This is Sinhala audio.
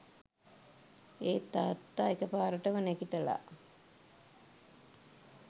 ඒත් තාත්තා එක පාරටම නැගිටලා